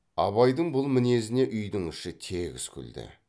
абайдың бұл мінезіне үйдің іші тегіс күлді